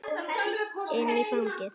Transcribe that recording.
Inn í fangið.